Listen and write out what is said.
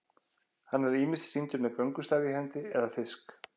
hann er ýmist sýndur með göngustaf í hendi eða fisk